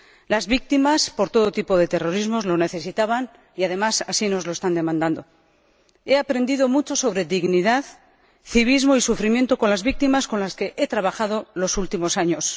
Las víctimas por todo tipo de terrorismo lo necesitaban y, además, así nos lo están demandando. He aprendido mucho sobre dignidad, civismo y sufrimiento con las víctimas con las que he trabajado los últimos años.